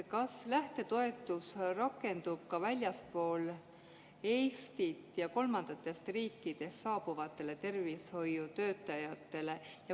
Kas lähtetoetus rakendub ka väljastpoolt Eestit ja kolmandatest riikidest saabuvate tervishoiutöötajate suhtes?